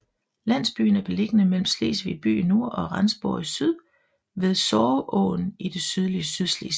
Landsbyen er beliggende mellem Slesvig by i nord og Rendsborg i syd ved Sorgåen i det sydlige Sydslesvig